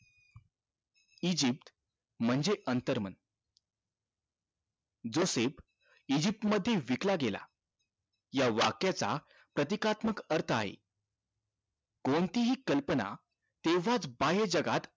Egypt म्हणजे अंतर मन जोसेफ इजिप्त मध्ये विकला गेला या वाक्याचा प्रतिकारत्मक अर्थ आहे कोणती हि कल्पना तेव्हाच बाह्य जगात